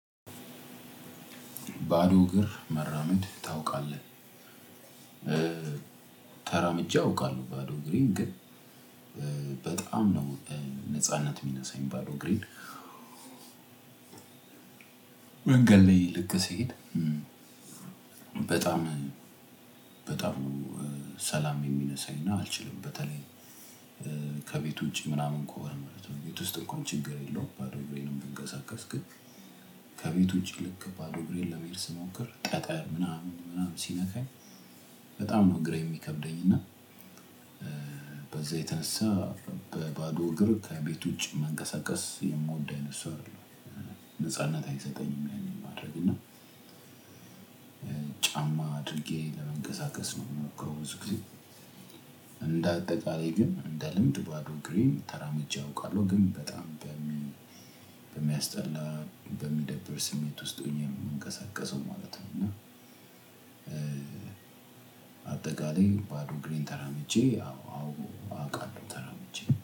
ባዶ እግር መራመድ ታውቃለህ። ተራምጄ አውቃለሁ ባዶ እሬን ግን በጣም ነው። ነጻነት የሚነሳኝ ባዶ እግሬን። መንገድ ላይ ልክ ስሄድ በጣም በጣም ነው። ሰላም የሚነሳኝና አልችልም በተለይ ከቤቱ ውጪ ምናምን ከሆነ ማለት ነው። ቤት ውስጥ እንኳን ችግር የለውም። ባዶ እግሬንም ብንቀሳቀስ። ከቤት ውጪ ልክ ባዶ እግሬን ለመሄድ ስሞክር ጠጠር ምናምን ምናምን ሲነካኝ በጣም ነው እግሬ የሚከብደኝ። እና በዛ የተነሳ በባዶ እግር ከቤት ውጪ መንቀሳቀስ የምወድ አይነት ሰው አይደለሁም። ነጻነት አይሰጠኝም ያንን ማድረግ እና ጫማ አድርጌ ለመንቀሳቀስ ነው የምንሞክረው። ብዙ ጊዜ እንደ አጠቃላይ ግን እንደ ልምድ ባዶ እግሬን ተራምጄ አውቃለሁ። ግን በጣም በሚያስጠላ በሚደብር ስሜት ውስጥ ሆኜ ነው የምንቀሳቀሰው ማለት ነው። እና አጠቃላይ ባዶ እግሬን ተራምጄ አዎ አዎ አውቃለሁ ተራምጄ